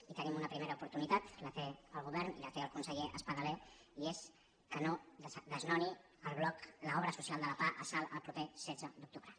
i en tenim una primera oportunitat la té el govern i la té el conseller espadaler i és que no desnonin el bloc l’obra social de la pah a salt el proper setze d’octubre